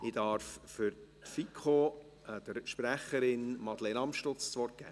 Ich darf für die FiKo deren Sprecherin Madeleine Amstutz das Wort geben.